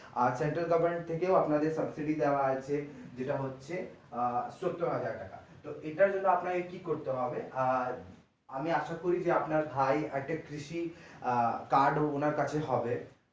আর central government থেকেও আপনাদের subsidy দেওয়া আছে যেটা হচ্ছে আহ সত্তর হাজার টাকা তো ঠিক আছে তো আপনাকে কি করতে হবে আহ আমি আশা করি যে আপনার ভাই at a কৃষি card ওনার কাছে হবে।